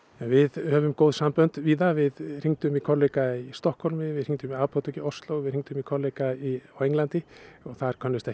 við höfum góð sambönd víða við hringdum í kollega í Stokkhólmi við hringdum í apótek í Osló við hringdum í kollega á Englandi og þar könnuðust